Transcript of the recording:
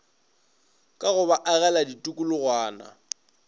ka go ba agela tikologwana